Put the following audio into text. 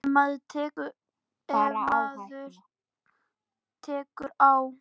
Ef maður bara tekur á.